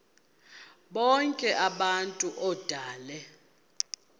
bonk abantu odale